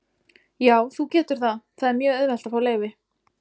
Já, þú getur það, það er mjög auðvelt að fá leyfi.